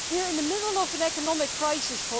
We are in the middle of an economic crisis.